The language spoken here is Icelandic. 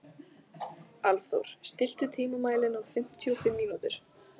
Álfþór, stilltu tímamælinn á fimmtíu og fimm mínútur.